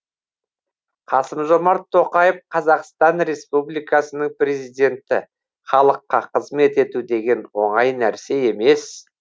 қасым жомарт тоқаев қазақстан республикасының президенті халыққа қызмет ету деген оңай нәрсе емес